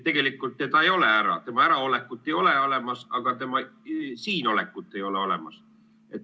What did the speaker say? Tegelikult ta ei ole ära, tema äraolekut ei ole olemas, aga ka tema siinolekut ei ole olemas.